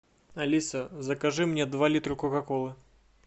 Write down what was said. алиса закажи мне два литра кока колы